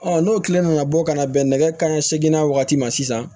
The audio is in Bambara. n'o tile nana bɔ ka na bɛn nɛgɛ kanɲɛ seginna wagati ma sisan